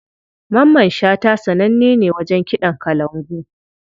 Mamman shata sananne ne wajen kiɗan kalangu.